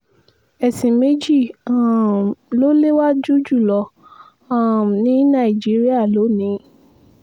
ẹ̀sìn méjì um ló léwájú jù lọ um ní nàìjíríà lónìí